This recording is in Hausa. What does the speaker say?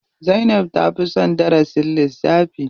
Zainab ta fi son darasin lissafi.